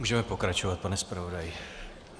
Můžeme pokračovat, pane zpravodaji.